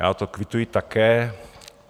Já to kvituji také.